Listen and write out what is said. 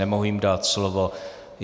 Nemohu jim dát slovo.